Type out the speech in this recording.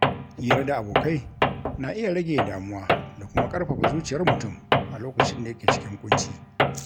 Hira da abokai na iya rage damuwa da kuma ƙarfafa zuciyar mutum a lokacin da yake cikin ƙunci.